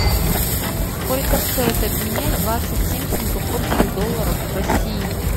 сколько стоит обменять двадцать семь сингапурских долларов в россии